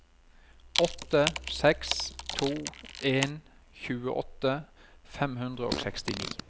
åtte seks to en tjueåtte fem hundre og sekstini